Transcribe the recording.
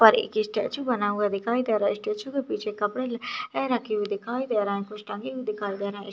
यहाँ पर एक स्टैचू बना हुआ दिखाई दे रहा है स्टैचू के पीछे कपड़े रखे हुए दिखाई दे रहा है कुछ टंगे हुए दिखाई दे रहें--